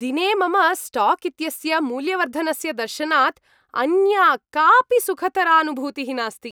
दिने मम स्टाक् इत्यस्य मूल्यवर्धनस्य दर्शनात् अन्या कापि सुखतरानुभूतिः नास्ति।